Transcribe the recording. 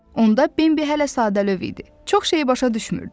Onda Bembi hələ sadəlövh idi, çox şey başa düşmürdü.